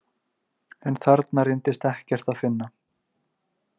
En þarna reyndist ekkert að finna.